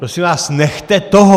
Prosím vás, nechte toho!